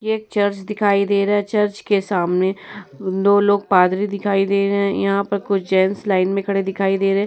एक चर्च दिखाई दे रहा है। चर्च के सामने दो लोग पादरी दिखाई दे रहे हैं। यहाँ पे कुछ जेंट्स लाइन में खड़े दिखाई दे रहे हैं।